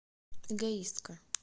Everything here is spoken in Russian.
эгоистка